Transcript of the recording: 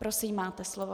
Prosím, máte slovo.